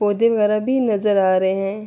پڑھے وگیرہ بھی نظر آ رہے ہے۔